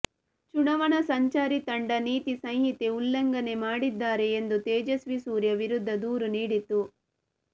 ಚುನಾವಣಾ ಸಂಚಾರಿ ತಂಡ ನೀತಿ ಸಂಹಿತೆ ಉಲ್ಲಂಘನೆ ಮಾಡಿದ್ದಾರೆ ಎಂದು ತೇಜಸ್ವಿ ಸೂರ್ಯ ವಿರುದ್ಧ ದೂರು ನೀಡಿತ್ತು